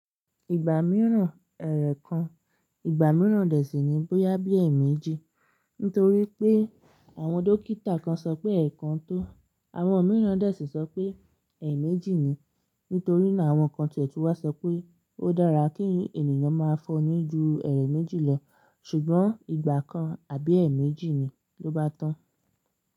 Ìgbà mìíràn ẹ̀ẹ̀rẹ̀ kan, ìgbà mìíràn dẹ̀ sí ní bó yá bí ẹ̀ẹ̀ méjì. Nítorí pé àwọn dókítà kan sọ pé ẹ̀ẹ̀ kan tó, àwọn mìíràn dẹ̀ sì sọ pé ẹ̀ẹ̀ méjì ni. Nítorí náà àwọn kan tí ètùú wa sọ pé ó dára kí ènìyàn má fọnu ni ju ẹ̀ẹ̀rẹ̀ méjì lọ. Ṣùgbọ́n ìgbà kan àbí ẹ̀ẹ̀ méjì ni ló bá tán.